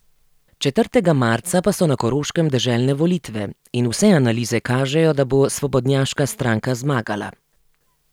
Četrtega marca pa so na Koroškem deželne volitve in vse analize kažejo, da bo svobodnjaška stranka zmagala.